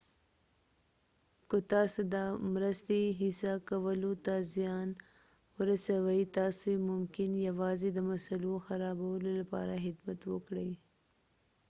که تاسي د مرستې هڅه کولو ته زیان ورسئ تاسي ممکن یوازې د مسئلو خرابولو لپاره خدمت وکړئ